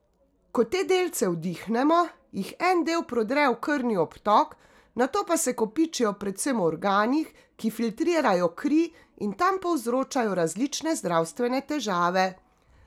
Ko te delce vdihnemo, jih en del prodre v krvni obtok, nato pa se kopičijo predvsem v organih, ki filtrirajo kri in tam povzročajo različne zdravstvene težave.